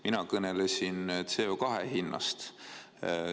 Mina kõnelesin CO2 hinnast.